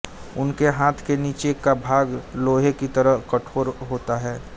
उनके हाथ के नीचे का भाग लोहे की तरह कठोर होता है